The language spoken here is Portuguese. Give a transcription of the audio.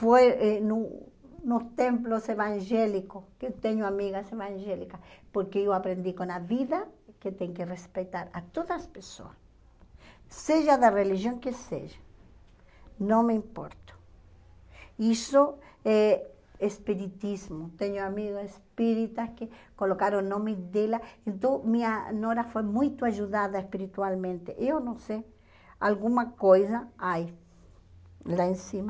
foi no nos templos evangélicos que tenho amigas evangélicas porque eu aprendi com a vida que tem que respeitar a todas as pessoas seja da religião que seja não me importo isso é espiritismo tenho amigas espíritas que colocaram o nome dela então minha nora foi muito ajudada espiritualmente eu não sei alguma coisa ai lá em cima